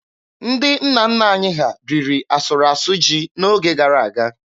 Ndị nna nna anyị ha riri asụrụ asụ ji n'oge gara aga.